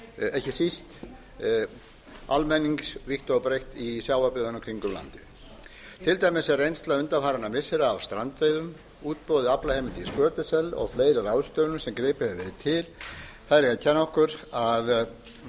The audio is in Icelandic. ekki síst almennings vítt og breytt í sjávarbyggðunum í kringum landið til dæmis er reynsla undanfarinna missira af strandveiðum útboð aflaheimilda í skötusel og fleiri ráðstöfunum sem gripið hefur verið til eiga að